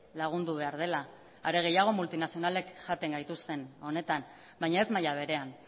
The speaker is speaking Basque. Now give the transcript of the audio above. lagundu behar dela are gehiago multinazionalek jaten gaituzten honetan baina ez maila berean